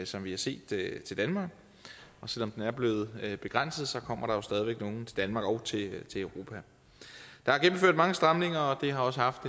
som vi har set til danmark selv om den er blevet begrænset kommer der jo stadig væk nogle til danmark og til europa der er gennemført mange stramninger og det har også haft